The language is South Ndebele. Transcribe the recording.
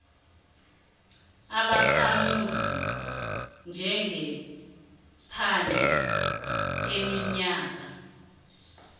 ubakhamuzi njengephandle iminyaka